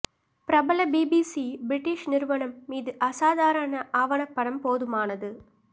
பிரபல BBC British நிறுவனம் மீது அசாதாரண ஆவணப்படம் போதுமானது